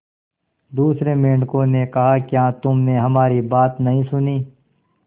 दूसरे मेंढकों ने कहा क्या तुमने हमारी बात नहीं सुनी